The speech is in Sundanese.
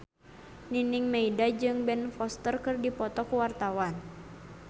Nining Meida jeung Ben Foster keur dipoto ku wartawan